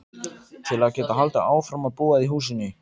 Til að geta haldið áfram að búa í húsinu.